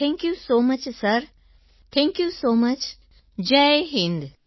thank you so much sir thank you so much Jai Hind sir